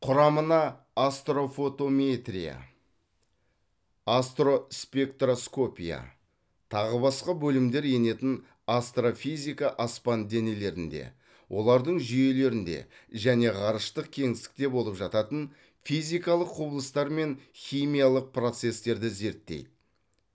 құрамына астрофотометрия астроспектроскопия тағы басқа бөлімдер енетін астрофизика аспан денелерінде олардың жүйелерінде және ғарыштық кеңістікте болып жататын физикалық құбылыстар мен химиялық процестерді зерттейді